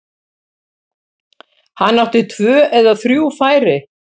Hann átti tvö eða þrjú færi.